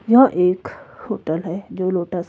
यह एक होटल है जो लोटस --